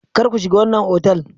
Kar ku shiga wannan otal!